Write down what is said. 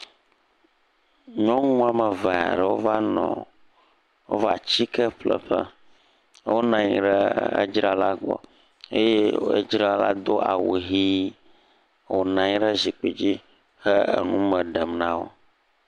Nyɔnu woame eve aɖewo va nɔɔ., wova atsike ƒle ƒe. wonɔ anyi ɖe edzrala gbɔ eye edzrala do awu ʋii. Wònɔ anyi ɖe zikpi dzi he enume ɖem na wo.